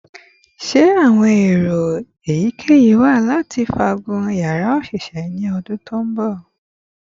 Ṣe awọn ero eyikeyi wa lati faagun yara oṣiṣẹ ni ọdun ti n bọ?